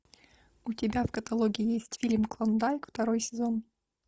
у тебя в каталоге есть фильм клондайк второй сезон